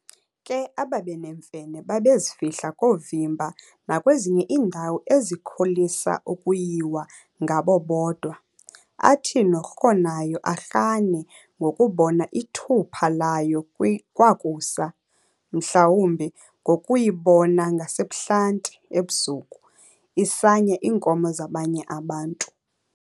Ke ababeneemfene babezifihla koovimba nakwezinye iindawo ezikholisa ukuyiwa ngabo bodwa, athi norhonayo arhane ngokubona ithupha layo kwakusa, mhlawumbi ngokuyibona ngasebuhlanti, ebusuku, isanya iinkomo zabanye abantu.